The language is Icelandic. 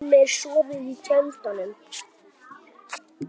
Heimir: Sofið í tjöldum?